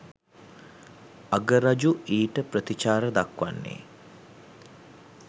අගරජු ඊට ප්‍රතිචාර දක්වන්නේ